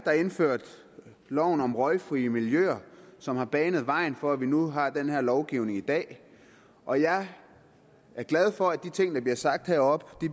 der indførte loven om røgfri miljøer som har banet vejen for at vi nu har den her lovgivning i dag og jeg er glad for at de ting der bliver sagt heroppe